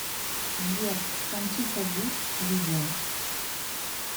сбер кончита вурст видео